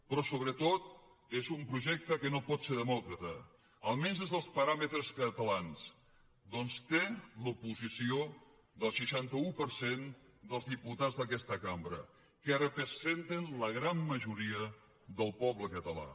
però sobretot és un projecte que no pot ser demòcrata almenys des dels paràmetres catalans ja que té l’oposició del seixanta un per cent dels diputats d’aquesta cambra que representen la gran majoria del poble català